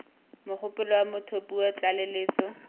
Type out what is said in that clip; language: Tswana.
mogopolo wa motho puo tlaleletso